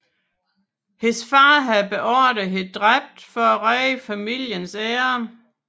Hendes far havde beordret hende dræbt for at redde familiens ære